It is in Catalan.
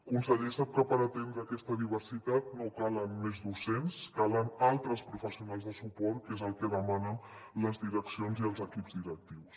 conseller sap que per atendre aquesta diversitat no calen més docents calen altres professionals de suport que és el que demanen les direccions i els equips directius